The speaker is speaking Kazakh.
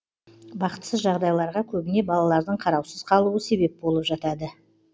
бақытсыз жағдайларға көбіне балалардың қараусыз қалуы себеп болып жатады